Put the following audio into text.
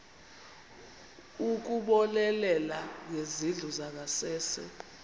ukubonelela ngezindlu zangasese